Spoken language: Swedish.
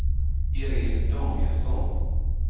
Irene Danielsson